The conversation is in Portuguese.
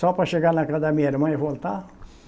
Só para chegar na casa da minha irmã e voltar?